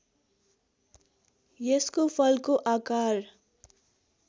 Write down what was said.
यसको फलको आकार